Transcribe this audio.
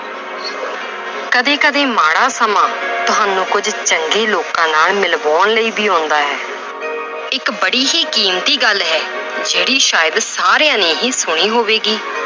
ਕਦੇ ਕਦੇ ਮਾੜਾ ਸਮਾਂ ਤੁਹਾਨੂੰ ਕੁੱਝ ਚੰਗੇ ਲੋਕਾਂ ਨਾਲ ਮਿਲਵਾਉਣ ਲਈ ਵੀ ਆਉਂਦਾ ਹੈ ਇੱਕ ਬੜੀ ਹੀ ਕੀਮਤੀ ਗੱਲ ਹੈ ਜਿਹੜੀ ਸ਼ਾਇਦ ਸਾਰਿਆਂ ਨੇ ਹੀ ਸੁਣੀ ਹੋਵੇਗੀ